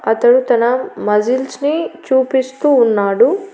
అతడు తన మజిల్స్ ని చూపిస్తూ ఉన్నాడు.